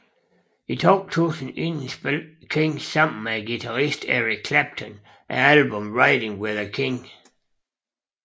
I 2000 indspillede King sammen med guitaristen Eric Clapton albummet Riding With the King